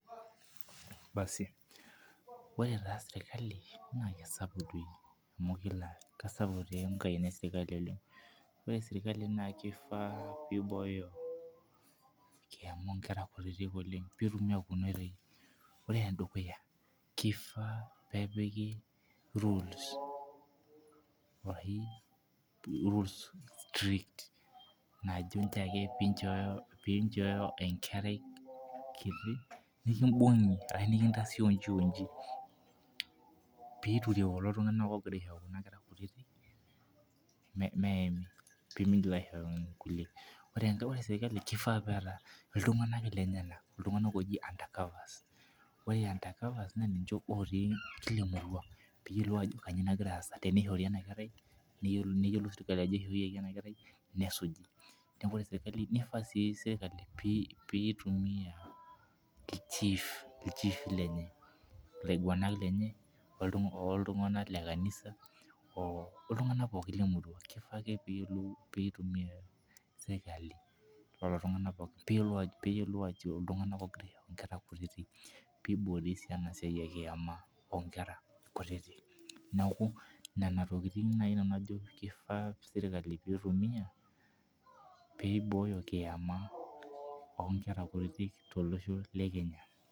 Basi ore taa sirkali naa kisapuk. amu kesapuk taa enkaina esirkali oleng. ore sirkali naa kifaa pee Ibooyo enkiama oonkera kutitik oleng. pee etumoki .ore ene dukuya, kifaa peepiki rules arashu rules strict naajo nchoo ake, pee inchooyo enkerai kiti. nikibungi ashu nikintaasi iji oji, pee iture kulo tunganak oogira aishooyo nkera kutitik meami pee migil aishooyo nkulie. ore sirkali bkifaa peeta iltunganak kenyamal. iltunganak looji under covers. ore undercovers naa ninche lotii enkop pee eyiolou aajo kainyioo nagira aasa pee eyiolou ajo ishooyioki ena kerai, kainyioo pee ishooyioki ena kerai. nesuj. neeku ore sirkali nifaa sii sirkali, pitumia ilchiifi lenye. ilaiguanak lenye oltunganak le kanisa. oltunganak pookin Lemurua pee eyiolou ajo iltunganak oogira aishooyo nkera kutitik. pee iboori ena siai ekiama oonkera. kutiti. neeku nena tokitin naji ejo sirkali pee itumia, pee Ibooyo enkiama oo nkera kutitik tolosho le Kenya.